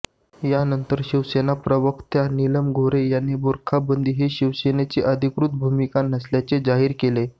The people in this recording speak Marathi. यानंतर शिवसेना प्रवक्त्या नीलम गोऱ्हे यांनी बूरखा बंदी ही शिवसेनेची अधिकृत भूमिका नसल्याचं जाहीर केलं